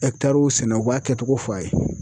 sɛnɛ u b'a kɛtogo fɔ a ye.